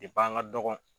Depi an ka dɔgɔn